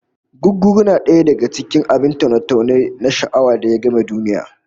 Gugguru na daya daka cikin abin taune-taune na sha'awa da ya game duniya